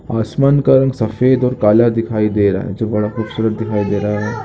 आसमान का रंग सफ़ेद और काला दिखाई दे रहा है है जो बड़ा खबसूरत दिखाई दे रहा है।